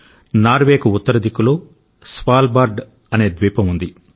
నార్వేకు ఉత్తర దిక్కులో స్వాల్బార్డ్ అనే ద్వీపం ఉంది